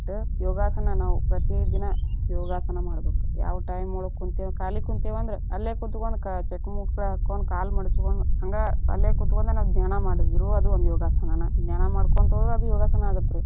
ಯೋಗಾಸನ ನಾವು ಪ್ರತಿ ದಿನಾ ಯೊಗಾಸನ ಮಾಡ್ಬೇಕ, ಯಾವ time ಒಳಗ ಕಾಲಿ ಕುಂತೇವಿ ಅಂದ್ರ ಅಲ್ಲೇ ಕುತಕೊಂಡ ಚಕ್ಕಳ ಮುಕಳಿ ಹಾಕೊಂಡ ಕಾಲ ಮಾಡಚ್ಕೊಂಡ ಹಂಗ ಅಲ್ಲೇ ಕೂತ್ಕೊಂಡ ನಾವ ಧ್ಯಾನಾ ಮಾಡಿದ್ರು ಅದು ಒಂದ ಯೋಗಾಸನನ, ಧ್ಯಾನ ಮಾಡ್ಕೊಂತ ಹೋದ್ರ ಯೋಗಸನಾ ಆಗತ್ತರೀ.